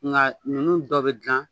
Nga ninnu dɔ bɛ dilan